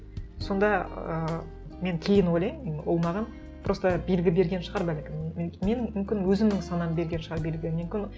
сонда ыыы мен кейін ойлаймын ол маған просто белгі берген шығар бәлкім мен мүмкін өзімнің санам берген шығар белгі мүмкін